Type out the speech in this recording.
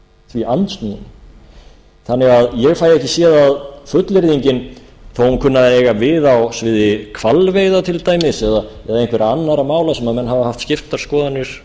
því andsnúinn þannig að ég fæ ekki séð að fullyrðingin þó að hún kunni að eiga við á sviði hvalveiða til dæmis eða einhverra annarra mála sem menn hafa haft skiptar skoðanir